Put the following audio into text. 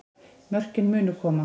Mörkin munu koma